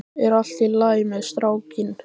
Er allt í lagi með strákinn?